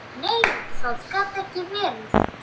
Nei, það gat ekki verið.